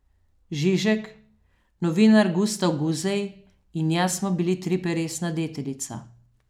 Žižek, novinar Gustav Guzej in jaz smo bili triperesna deteljica.